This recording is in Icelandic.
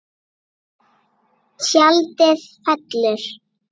Tjaldið fellur.